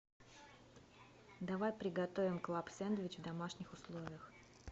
давай приготовим клаб сэндвич в домашних условиях